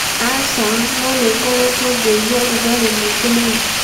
aca, no nĩ ngoretwo ngĩigua rũgarĩ mũingĩ mũno